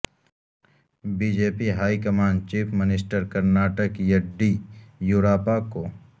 be J P high command chief minister Karnataka Yeddyurappa کو